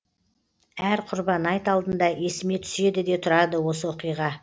әр құрбан айт алдында есіме түседі де тұрады осы оқиға